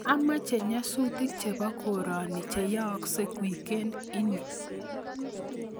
Amache nyasutik chebo korani cheyaaksei wikend ini